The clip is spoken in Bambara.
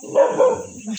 Na